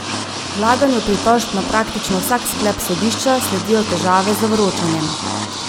Vlaganju pritožb na praktično vsak sklep sodišča sledijo težave z vročanjem.